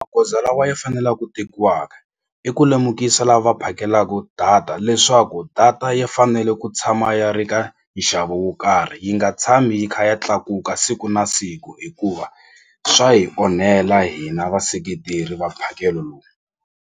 Magoza lawa ya fanela ku tekiwaka i ku lemukisa lava phakelaku data leswaku data ya fanele ku tshama ya ri ka nxavo wo karhi yi nga tshami yi kha ya tlakuka siku na siku hikuva swa hi onhela hina vaseketeri va mphakelo lowu.